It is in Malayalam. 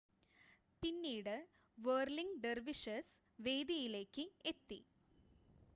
പിന്നീട് വേർലിംഗ് ഡെർവിഷസ് വേദിയിലേക്ക് എത്തി